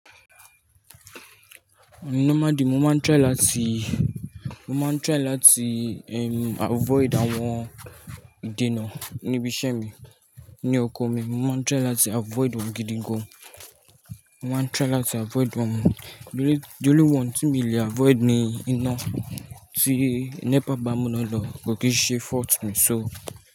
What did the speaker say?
Normally, mo máa ń try láti, mo máa ń try láti, ehm, avoid àwọn ìdènà níbi iṣẹ́ mi, ní oko mi. Mo máa ń try láti avoid wọn gídígun. Mo máa ń try láti avoid wọ́n. The one tí mi le avoid ni iná tí NEPA bá mú lọ́nà, kò kìn ṣe fault mi. So.